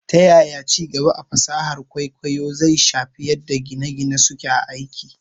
Ta yaya ci gaba a fasahar kwaikwayo zai shafi yadda gine - gine suke aiki?